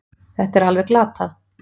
Þetta er alveg glatað